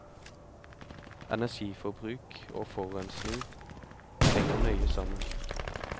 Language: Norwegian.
Energiforbruk og forurensing henger nøye sammen.